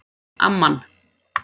Amman